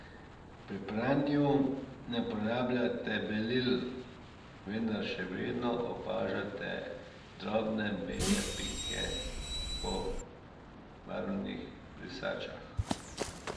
Pri pranju ne uporabljate belil, vendar še vedno opažate drobne bele pike po barvnih brisačah.